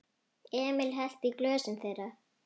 Emil hellti í glösin þeirra.